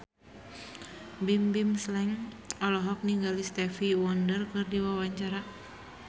Bimbim Slank olohok ningali Stevie Wonder keur diwawancara